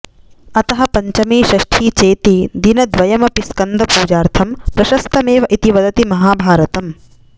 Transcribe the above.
अतः पञ्चमी षष्ठी चेति दिनद्वयमपि स्कन्दपूजार्थं प्रशस्तमेव इति वदति महाभारतम्